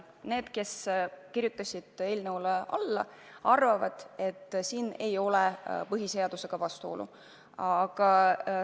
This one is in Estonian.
Need, kes kirjutasid eelnõule alla, arvavad, et põhiseadusega vastuolu ei ole.